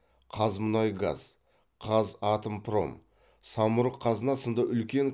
қазмұнайгаз қазатомпром самұрық қазына сынды үлкен